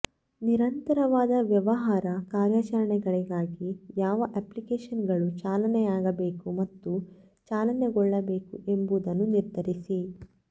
ನಿರಂತರವಾದ ವ್ಯವಹಾರ ಕಾರ್ಯಾಚರಣೆಗಳಿಗಾಗಿ ಯಾವ ಅಪ್ಲಿಕೇಶನ್ಗಳು ಚಾಲನೆಯಾಗಬೇಕು ಮತ್ತು ಚಾಲನೆಗೊಳ್ಳಬೇಕು ಎಂಬುದನ್ನು ನಿರ್ಧರಿಸಿ